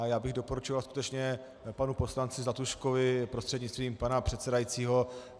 A já bych doporučoval skutečně panu poslanci Zlatuškovi prostřednictvím pana předsedajícího.